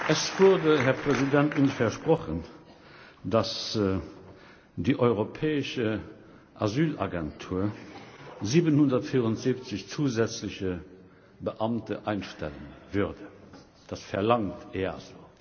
Es wurde uns versprochen, dass die Europäische Asylagentur 774 zusätzliche Beamte einstellen würde, das verlangt EASO.